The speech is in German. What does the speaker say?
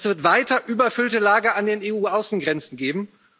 Es wird weiter überfüllte Lager an den EU Außengrenzen geben.